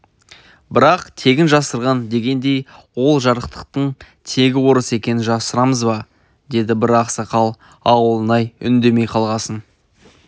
бірақ тегін жасырған дегендей ол жарықтықтың тегі орыс екенін жасырамыз ба деді бір ақсақал ауылнай үндемей қалғасын